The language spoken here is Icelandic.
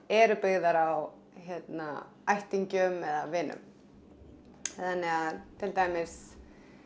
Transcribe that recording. eru byggðar á ættingjum eða vinum til dæmis